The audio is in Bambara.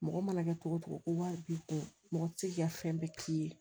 Mɔgɔ mana kɛ togo togo ko wari b'i kun mɔgɔ ti se k'i ka fɛn bɛɛ k'i ye